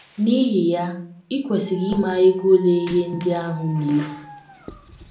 N’ihi ya, i kwesịrị ịma ego ole ihe ndị ahụ na - efu.